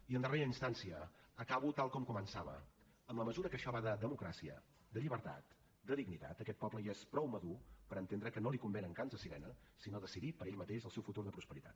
i en darrera instància acabo tal com començava en la mesura que això va de democràcia de llibertat de dignitat aquest poble ja és prou madur per entendre que no li convenen cants de sirena sinó decidir per ell mateix el seu futur de prosperitat